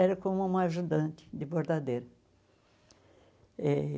Era como uma ajudante de bordadeira e